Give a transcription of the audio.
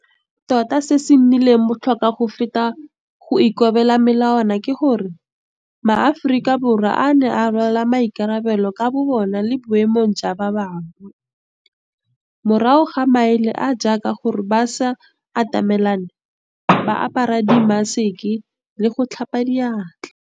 Tota se se nnileng botlhokwa go feta go ikobela melawana ka gore, maAforika Borwa a ne a rwala maikarabelo ka bobona le boemong jwa ba bangwe, morago ga maele a a jaaka gore ba se atamelane, ba apare dimmaseke le go tlhapa diatla.